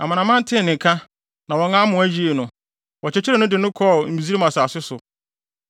Amanaman no tee ne nka, na wɔn amoa yii no. Wɔkyekyeree no de no kɔɔ Misraim asase so.